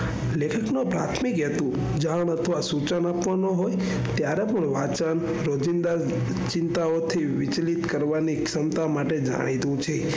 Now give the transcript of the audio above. લેખક નો પ્રાથમિક હેતુ જાણ સૂચન આપવાનો હોય ત્યારે પણ વાંચન રોજિંદા ચિંતાઓ થી વિચલિત કરવાની ક્ષમતા માટે જાણીતું છે.